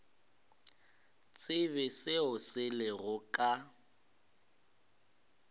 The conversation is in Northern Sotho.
tsebe seo se lego ka